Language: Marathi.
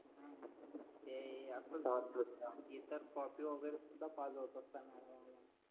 हम्म ते असं झालं ते तर कॉपी वैगेरे